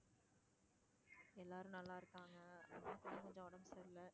எல்லாரும் நல்லா இருக்காங்க. அம்மாக்கு தான் கொஞ்சம் உடம்பு சரியில்ல.